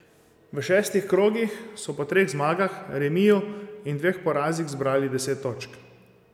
V šestih krogih so po treh zmagah, remiju in dveh porazih zbrali deset točk.